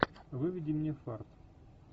выведи мне фарт